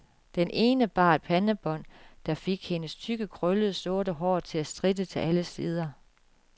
Den ene bar et pandebånd, der fik hendes tykke, krøllede, sorte hår til at stritte til alle sider.